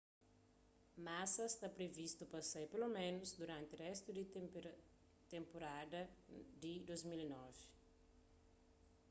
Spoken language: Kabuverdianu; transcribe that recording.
massa sta privistu pa sai peloménus duranti réstu di tenpurada di 2009